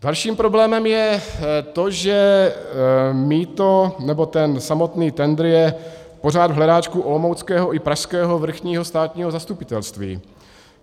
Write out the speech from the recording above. Dalším problémem je to, že mýto, nebo ten samotný tendr je pořád v hledáčku olomouckého i pražského vrchního státního zastupitelství.